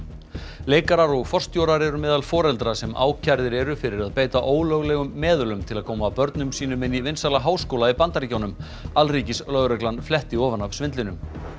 leikarar og forstjórar eru meðal foreldra sem ákærðir eru fyrir að beita ólöglegum meðölum til að koma börnum sínum inn í vinsæla háskóla í Bandaríkjunum alríkislögreglan fletti ofan af svindlinu